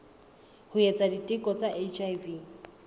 ho etsa diteko tsa hiv